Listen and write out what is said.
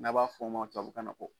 N'a b'a fɔ o ma tubabu kan na ko